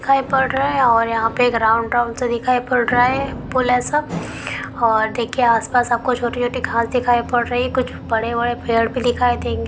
ओर देखिए आस पास आपको छोटी छोटी खास दिखाई पड़ रही हे कुछ बड़े बड़े पेड़ भी दिखाई देंगे सामने देखिए आपको एक लाल कलर का झंडा दिखाई पद रहा होगा फराते हुए।